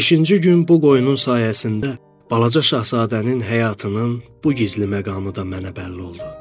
Beşinci gün bu qoyunun sayəsində balaca Şahzadənin həyatının bu gizli məqamı da mənə bəlli oldu.